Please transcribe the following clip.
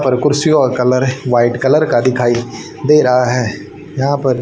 और कुर्सियों का कलर व्हाइट कलर का दिखाइए दे रहा है यहा पर।